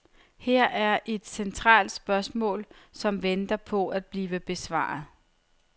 Her er et centralt spørgsmål, som venter på at blive besvaret.